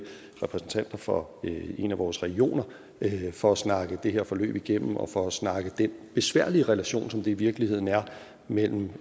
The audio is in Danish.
repræsentanter for en af vores regioner for at snakke det her forløb igennem og for at snakke den besværlige relation som det i virkeligheden er mellem